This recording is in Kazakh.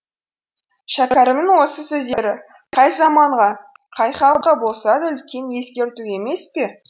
шәкәрімнің осы сөздері қай заманға қай халыққа болса да үлкен ескерту емес пе